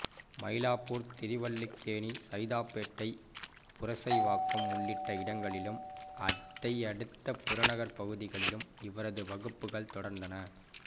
மயிலாப்பூர் திருவல்லிக்கேணி சைதாப்பேட்டை புரசைவாக்கம் உள்ளிட்ட இடங்களிலும் அதையடுத்து புறநகர்ப்பகுதிகளிலும் இவரது வகுப்புகள் தொடர்ந்தன